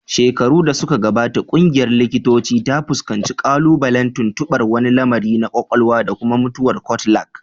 Shekaru da suka gabata, ƙungiyar likitocin ta fuskanci ƙalubalen tuntuɓar wani lamari na kwakwalwa da kuma mutuwar cortical